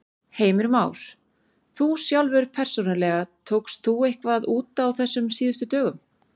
Heimir Már: Þú sjálfur persónulega, tókst þú eitthvað út á þessum síðustu dögum?